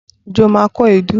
Ǹjẹ́ o ma kó èédú?